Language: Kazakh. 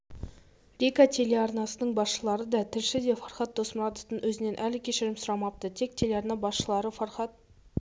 рика телеарнасының басшылары да тілші де фархад досмұратовтың өзінен әлі кешірім сұрамапты тек телеарна басшылары фархад